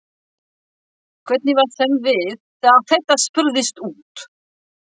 Hvernig var þeim við þegar að þetta spurðist út?